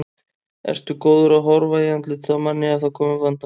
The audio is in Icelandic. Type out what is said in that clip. Ertu góður að horfa í andlitið á manni ef það koma upp vandamál?